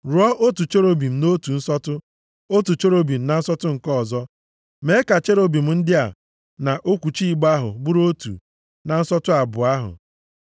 Rụọ otu cherub nʼotu nsọtụ, otu cherub na nsọtụ nke ọzọ; mee ka cherubim ndị a na okwuchi igbe ahụ bụrụ otu na nsọtụ abụọ ahụ.